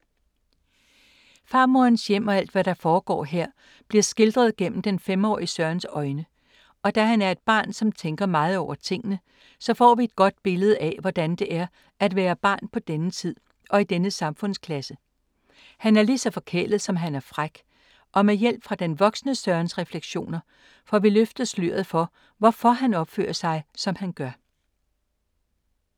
Farmorens hjem og alt hvad der foregår her, bliver skildret gennem den 5-årige Sørens øjne. Og da han er et barn, som tænker meget over tingene, så får vi et godt billede af hvordan det er at være barn på denne tid og i denne samfundsklasse. Han er ligeså forkælet som han er fræk, og med hjælp fra den voksne Sørens refleksioner, får vi løftet sløret for, hvorfor han opfører sig som han gør.